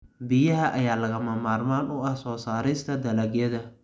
Biyaha ayaa lagama maarmaan u ah soo saarista dalagyada.